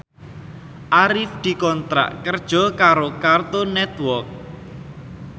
Arif dikontrak kerja karo Cartoon Network